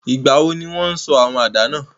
Ìgbàwo ni won sọ àwàdà náà?